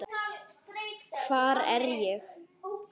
HVAR ER ÉG?